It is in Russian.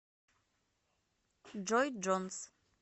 джой джонс